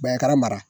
mara mara